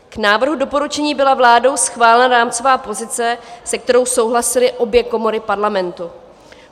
K návrhu doporučení byla vládou schválena rámcová pozice, se kterou souhlasily obě komory Parlamentu.